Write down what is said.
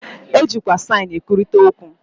E jikwa saịn e kwurịta okwu.